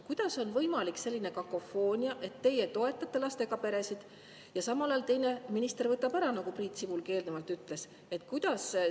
Kuidas on võimalik selline kakofoonia, et teie toetate lastega peresid, aga samal ajal teine minister võtab ära, nagu Priit Sibul ka eelnevalt ütles?